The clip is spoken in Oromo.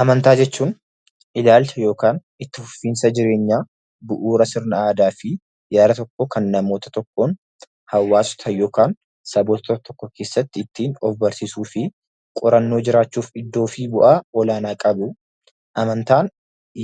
Amantaa jechuun ilaalcha yookiin itti fufiinsa jireenyaa bu'uura sirna aadaa fi yaada tokkoon kan namoota tokkoon hawwaasa sana yookiin saboottan tokko keessaatti ittiin of barsiisuu fi qorannoo jiraachuuf iddoo fi bu'aa olaanaa qabuu dha. Amantaan